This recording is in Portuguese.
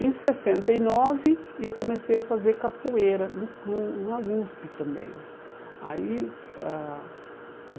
Em sessenta e nove, eu comecei a fazer capoeira no no na USP também. Aí ah